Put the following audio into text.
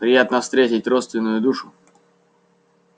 приятно встретить родственную душу